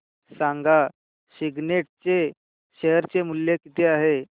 सांगा सिग्नेट चे शेअर चे मूल्य किती आहे